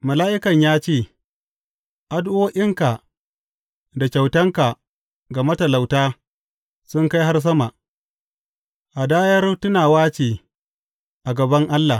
Mala’ikan ya ce, Addu’o’inka da kyautanka ga matalauta sun kai har sama, hadayar tunawa ce a gaban Allah.